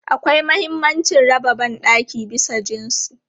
Akwai mahimmancin raba ban ɗaki bisa jinsi.